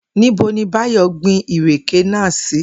Níbo ni Báyò̩ gbin ìrèké náà sí?